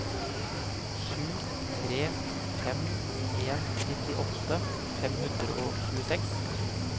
sju tre fem en nittiåtte fem hundre og tjueseks